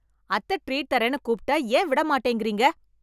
அத்த ட்ரீட் தரேன்னு கூப்பிட்டா ஏன் விட மாட்டேங்கறீங்க?